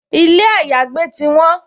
Ilé àyágbé ti won